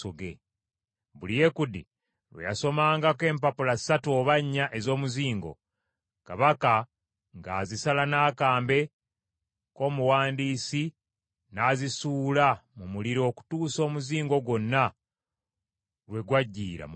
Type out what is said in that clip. Buli Yekudi lwe yasomangako empapula ssatu oba nnya ez’omuzingo, kabaka ng’azisala n’akambe k’omuwandiisi n’azisuula mu muliro okutuusa omuzingo gwonna lwe gwajjiira mu muliro.